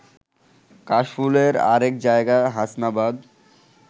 কাশফুলের আরেক জায়গা হাসনাবাদ